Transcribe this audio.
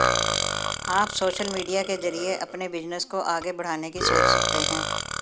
आप social media के जरिए अपने बिजनेस को आगे बड़ाने की सोच सकते हैं